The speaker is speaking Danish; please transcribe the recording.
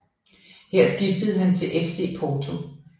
Her skiftede han til FC Porto